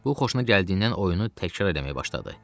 Bu xoşuna gəldiyindən oyunu təkrar eləməyə başladı.